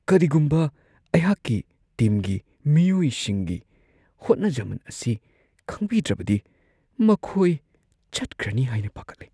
ꯀꯔꯤꯒꯨꯝꯕ ꯑꯩꯍꯥꯛꯀꯤ ꯇꯤꯝꯒꯤ ꯃꯤꯑꯣꯏꯁꯤꯡꯒꯤ ꯍꯣꯠꯅꯖꯃꯟ ꯑꯁꯤ ꯈꯪꯕꯤꯗ꯭ꯔꯕꯗꯤ ꯃꯈꯣꯏ ꯆꯠꯈ꯭ꯔꯅꯤ ꯍꯥꯏꯅ ꯄꯥꯈꯠꯂꯦ ꯫